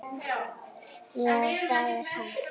Já, það er hann.